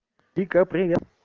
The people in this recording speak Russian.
вика привет